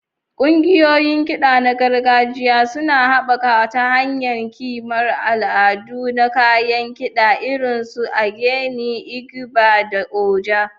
Ƙungiyoyin kiɗa na gargajiya suna haɓaka ta hanyar ƙimar al'adu na kayan kida irin su ogene, igba, da oja.